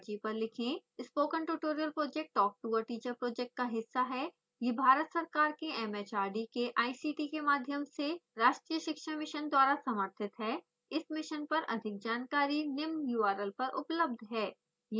spoken tutorial project talk to a teacher project का हिस्सा है यह भारत सरकार के mhrd के ict के माध्यम से राष्ट्रीय शिक्षा मिशन द्वारा समर्थित है